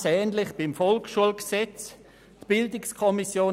Ganz ähnlich sieht es beim VSG aus.